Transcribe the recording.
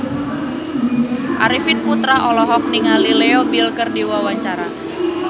Arifin Putra olohok ningali Leo Bill keur diwawancara